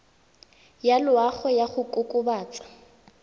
ya loago ya go kokobatsa